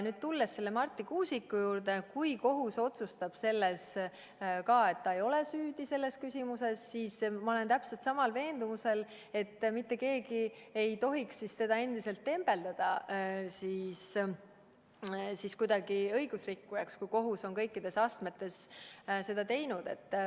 Tulles nüüd Marti Kuusiku juurde, ütlen, et kui kohus otsustab, et ta ei ole süüdi selles küsimuses, siis ma olen täpselt samal veendumusel, et mitte keegi ei tohiks sel juhul teda endiselt tembeldada kuidagi õigusrikkujaks, kui kohus on kõikides astmetes ta õigeks mõistnud.